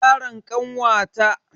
Yaron kanwata nada ciwon nimoniya.